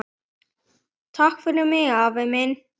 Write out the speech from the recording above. Takk fyrir mig, afi minn.